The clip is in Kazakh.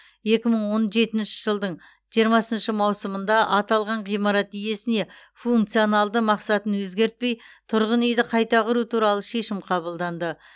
екі мың он жетінші жылдың жиырмасыншы маусымында аталған ғимарат иесіне функционалды мақсатын өзгертпей тұрғын үйді қайта құру туралы шешім қабылданды